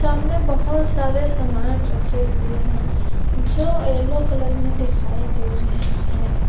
सामने बहुत सारे सामान रखे हुए हैं जो येलो कलर में दिखाई दे रहे हैं।